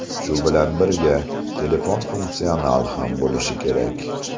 Shu bilan birga, telefon funksional ham bo‘lishi kerak.